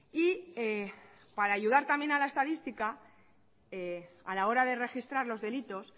y para ayudar también a la estadística a la hora de registrar los delitos